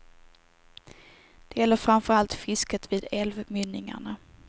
Det gäller framför allt fisket vid älvmynningarna.